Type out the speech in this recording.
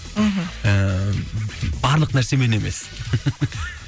мхм ііі барлық нәрсемен емес